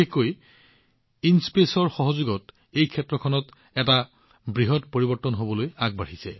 বিশেষকৈ আইএনস্পেচৰ সহযোগিতাই এই ক্ষেত্ৰত এক বৃহৎ পৰিৱৰ্তন আনিব